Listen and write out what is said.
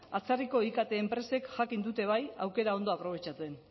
atzerriko ikt enpresek jakin dute bai aukera ondo aprobetxatzen